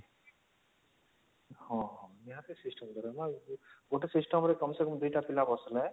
ହଁ ହଁ ନିହାତି system ଦରକାର ଗୋଟେ system ରେ କମ ସେ କମ ୨ଟା ପିଲା ବସିଲେ